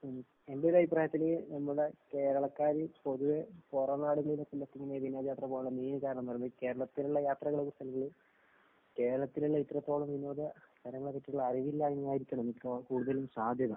ഉം എന്റൊരഭിപ്രായത്തില് നമ്മൾടെ കേരളക്കാര് പൊതുവെ പൊറം നാടുകളിലൊക്കെ ഇങ്ങനെ വിനോദയാത്ര പോകാൻ കേരളത്തിലുള്ള യാത്രകളെ കുറിച്ചൊന്നും കേരളത്തിലുള്ള ഇത്രത്തോളം വിനോദ സ്ഥലങ്ങളെപ്പറ്റിയുള്ള അറിവില്ലായ്മ്മയായിരിക്കണം മിക്ക കൂടുതലും സാധ്യത.